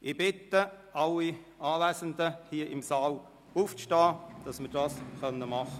Ich bitte alle Anwesenden hier im Saal aufzustehen.